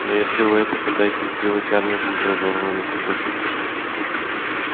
но если вы это пытаетесь сделать армия будет разорвана на кусочки